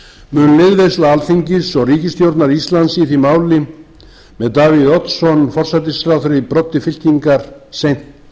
mun liðveisla alþingis og ríkisstjórnar íslands í því máli með davíð oddsson forsætisráðherra í broddi fylkingar seint